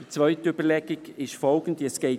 Weiter erwähne ich folgende Überlegung: